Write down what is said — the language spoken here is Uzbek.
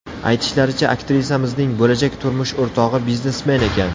Aytishlaricha, aktrisamizning bo‘lajak turmush o‘rtog‘i biznesmen ekan.